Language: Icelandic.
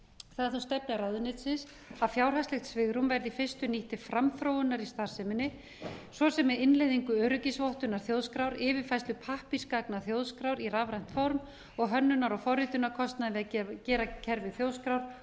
það er þó stefna ráðuneytisins að fjárhaldslegt svigrúm verði í fyrstu nýtt til framþróunar í starfseminni svo sem með innleiðingu öryggisvottunar þjóðskrár yfirfærslu pappírsgagna þjóðskrár í rafrænt form og hönnunar og forritunarkostnaði við að gera kerfi þjóðskrár